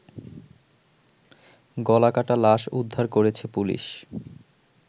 গলাকাটা লাশ উদ্ধার করেছে পুলিশ